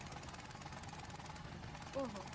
ઓહો.